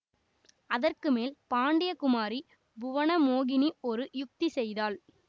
அதற்கு மேல் பாண்டிய குமாரி புவனமோகினி ஒரு யுக்தி செய்தாள்